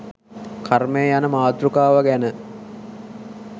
කර්මය යන මාතෘකාව ගැන